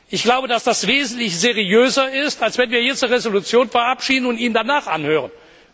Ich glaube, dass das wesentlich seriöser ist, als jetzt eine Resolution zu verabschieden und ihn danach anzuhören.